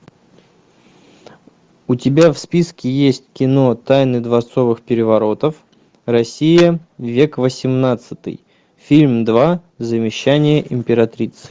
у тебя в списке есть кино тайны дворцовых переворотов россия век восемнадцатый фильм два завещание императрицы